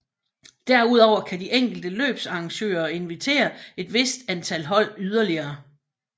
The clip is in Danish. Derudover kan de enkelte løbsarrangører inviterer et vist antal hold yderlige